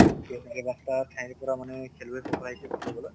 ঠাইৰ পৰা মানে খেলুৱৈ সকল আহিছিল খেলিবলৈ